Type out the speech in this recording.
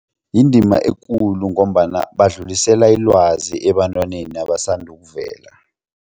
Yindima ekulu ngombana badlulisela ilwazi ebantwaneni abasanda ukuvela.